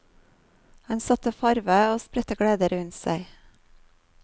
Han satte farve og spredte glede rundt seg.